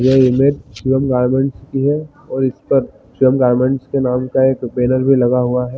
ये इमेज स्वेम गार्डन की है और इसका स्वेम गार्डेंस के नाम का एक बैनर भी लगा हुआ है |